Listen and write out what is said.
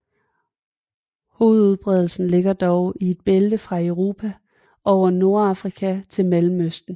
Hovedudbredelsen ligger dog i et bælte fra Europa over Nordafrika til Mellemøsten